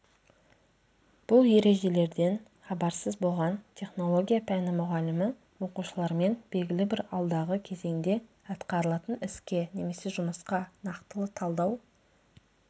бұл ережелерден хабарсыз болған технология пәні мұғалімі оқушылармен белгілі бір алдағы кезеңде атқарылатын іске немесе жұмысқа нақтылы талдау